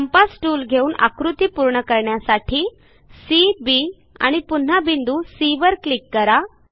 compass tool घेऊन आकृती पूर्ण करण्यासाठी सी बी आणि पुन्हा बिंदू सी वर क्लिक करा